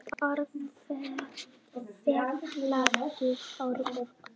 Mynd: Sveitarfélagið Árborg